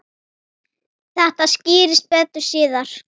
Þetta skýrist betur síðar.